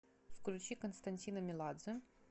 включи константина меладзе